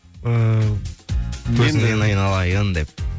ыыы көзіңнен айналайын деп